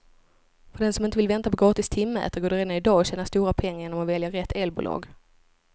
För den som inte vill vänta på gratis timmätare går det redan i dag att tjäna stora pengar genom att välja rätt elbolag.